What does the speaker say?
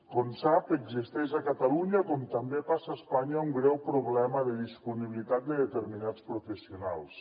com sap existeix a catalunya com també passa a espanya un greu problema de disponibilitat de determinats professionals